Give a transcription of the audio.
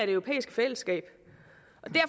europæiske fællesskab